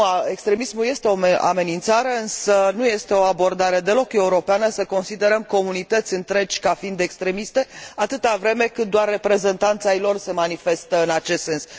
Extremismul este o amenințare, însă nu este o abordare deloc europeană să considerăm comunități întregi ca fiind extremiste, atâta vreme cât doar reprezentanți ai lor se manifestă în acest sens.